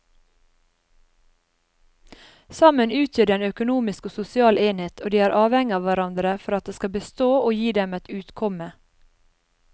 Sammen utgjør de en økonomisk og sosial enhet og de er avhengige av hverandre for at den skal bestå og gi dem et utkomme.